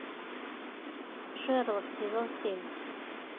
шерлок сезон семь